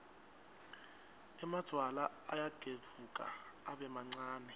emadvwala ayagedvuka abe mancane